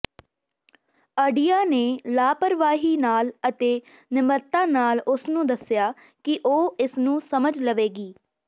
ਅਡਿਆ ਨੇ ਲਾਪਰਵਾਹੀ ਨਾਲ ਅਤੇ ਨਿਮਰਤਾ ਨਾਲ ਉਸਨੂੰ ਦੱਸਿਆ ਕਿ ਉਹ ਇਸ ਨੂੰ ਸਮਝ ਲਵੇਗੀ